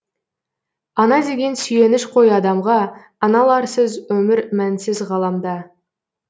ана деген сүйеніш қой адамға аналарсыз өмір мәнсіз ғаламда